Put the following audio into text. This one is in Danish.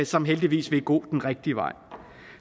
som heldigvis vil gå den rigtige vej